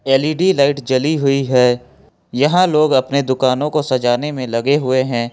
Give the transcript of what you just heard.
L E D light जली हुई है यह लोग अपने दुकानों को सजाने में लगे हुए हैं।